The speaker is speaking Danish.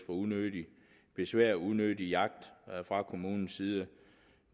unødigt besvær og unødig jagt fra kommunens side